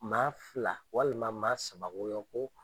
Maa fila walima maa sabayɔ bɔɲɔn ko.